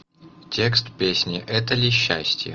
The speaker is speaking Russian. текст песни это ли счастье